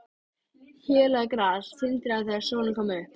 Hélað gras tindraði þegar sólin kom upp.